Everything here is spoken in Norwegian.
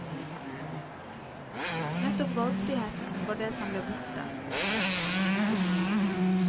Nettopp valgfriheten var det som ble borte.